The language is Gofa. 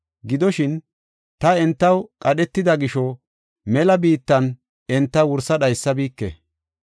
Gidoshin, ta entaw qadhetida gisho, mela biittan enta wursa dhaysabike.